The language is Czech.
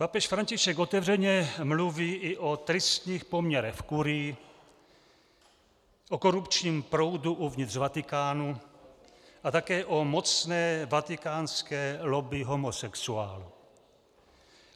Papež František otevřeně mluví i o tristních poměrech v kurii, o korupčním proudu uvnitř Vatikánu a také o mocné vatikánské lobby homosexuálů.